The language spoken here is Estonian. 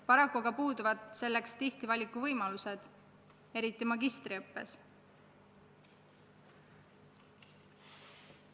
Paraku puuduvad selleks tihti valikuvõimalused, eriti magistriõppes.